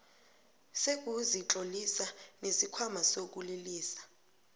sokuzitlolisa nesikhwama sokulilisa